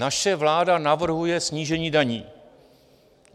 Naše vláda navrhuje snížení daní.